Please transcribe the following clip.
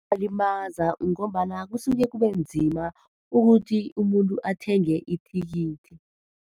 Kuyabalimaza ngombana kusuke kube nzima ukuthi umuntu athenge ithikithi.